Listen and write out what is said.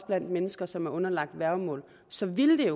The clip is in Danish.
blandt mennesker som er underlagt et værgemål så ville det